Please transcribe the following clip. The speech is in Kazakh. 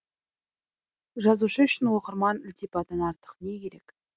жазушы үшін оқырман ілтипатынан артық не керек